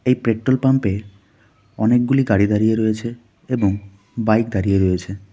এই পেট্রোল পাম্পে অনেকগুলি গাড়ি দাঁড়িয়ে রয়েছে এবং বাইক দাঁড়িয়ে রয়েছে.